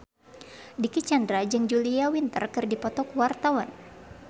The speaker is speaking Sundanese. Dicky Chandra jeung Julia Winter keur dipoto ku wartawan